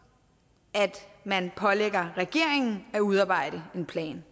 at man pålægger regeringen at udarbejde en plan